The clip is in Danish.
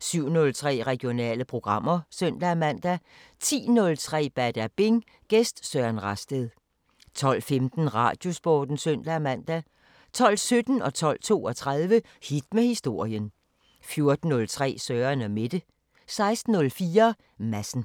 07:03: Regionale programmer (søn-man) 10:03: Badabing: Gæst Søren Rasted 12:15: Radiosporten (søn-man) 12:17: Hit med historien 12:32: Hit med historien 14:03: Søren & Mette 16:04: Madsen